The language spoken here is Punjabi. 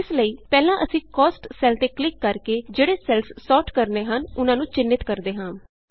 ਇਸ ਲਈ ਪਹਿਲਾਂ ਅਸੀਂ Costਸੈੱਲ ਤੇ ਕਲਿਕ ਕਰਕੇ ਜਿਹੜੇ ਸੈੱਲਸ ਸੋਰਟ ਕਰਨੇ ਹਨ ਉਹਨਾਂ ਨੂੰ ਚਿੰਨ੍ਹਿਤ ਕਰਦੇ ਹਾਂ